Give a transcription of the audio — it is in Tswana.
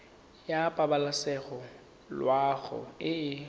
ya pabalesego loago e e